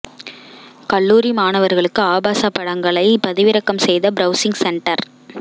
கல்லூரி மாணவர்களுக்கு ஆபாச படங்களை பதிவிறக்கம் செய்த பிரவுசிங் சென்டர்